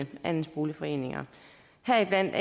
andelsboligforeninger heriblandt